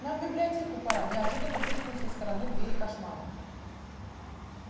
нам в библиотеку пора неожиданно пискнул со стороны двери кошмарик